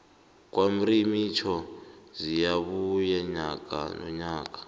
kwamrimitjho ziyabuya nyaka nonyaka